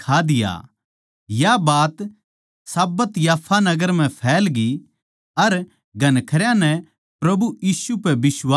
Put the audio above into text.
या बात साब्बत याफा नगर म्ह फैलग्यी अर घणखरयां नै प्रभु यीशु पै बिश्वास करया